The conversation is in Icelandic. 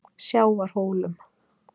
Sjávarhólum